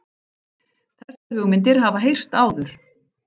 Þessar hugmyndir hafa heyrst áður